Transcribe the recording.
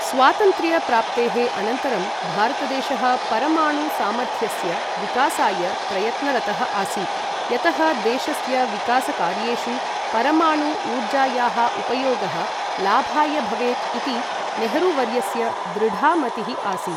स्वातन्त्र्य प्राप्तेः अनन्तरं भारतदेशः परमाणु सामर्थ्यस्य विकासाय प्रयत्नरतः आसीत्, यतः देशस्य विकासकार्येषु परमाणु ऊर्जायाः उपयोगः लाभाय भवेत् इति नेहरुवर्यस्य दृढा मतिः आसीत्।